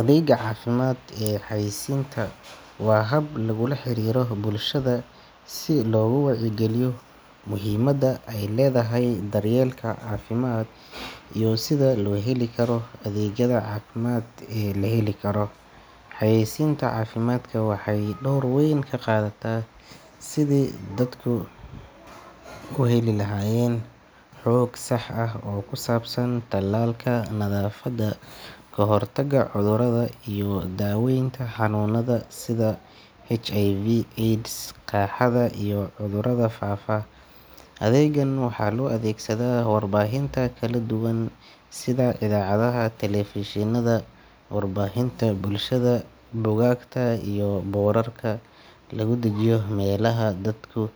adeega cafimaad ee xayeysinta wa hab lagula xarira bulshadha si loga wacya giliyo muhimada ay ledhahay daryelka cafimaad iyo sidha loheli karo adeegyadha cafimaad ee laheli Karo. Xayeysinta cafimaadka waxay dowr weyn kaqathata sidhi dadka u heli lahayen xoog sax ah oo kusabsan talalka nadhafada kahor taga cudhuradhabiyo daweynta xanunadha sidha HIV/AIDS sidhi qaradha iyo cudhuradha faafa Adeegan waxa lo adeegsadha warbahinta Kala duwan sidha idhacadhaha televishinadha warbahinta bulshadha bukakta iyo burarka lagudijiyo melaha dadka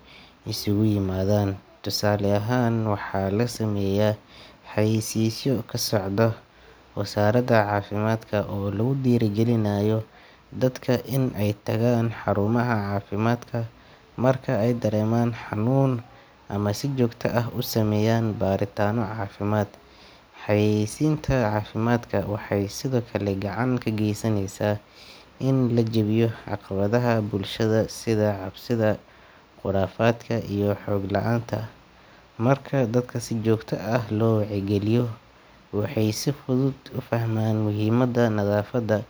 isku yimadhan. Tusale ahaan waxa lasameya xayeysiso kasocda wazarada cafimadka oo lagudira gilinayo dadka in ay tagaan xarumaha cafimaadka. Marka ay dareman xanun ama si jogta ah usameyan baritana cafimaad. Xayeysinta cafimaadka waxay sidhokale gacanta kageysaneysa in lajabiyo caqabadhaha bulshada sidha cabsidha qurafaadka iyo xoog laanta ah. Marka dadka si jogta ah lowacya giliyo waxay si fudhud u fahmaan muhimada nadhafada.